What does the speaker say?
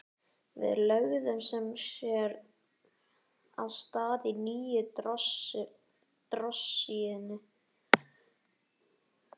Við lögðum sem sé af stað á nýju drossíunni.